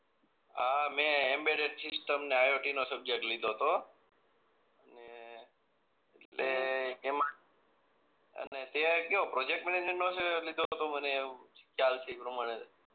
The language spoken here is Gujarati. હા મે એમ્બેડેડ સીસ્ટમ ને આયોટી નો સબ્જેકટ લીધો તો ને તે એમાં અને તે કયો પ્રોજેક્ટ મેનેજર નો જ લીધો તો મને એવું ખ્યાલ છે એ પ્રમાણે